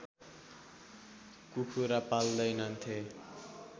कुखुरा पाल्दैनथे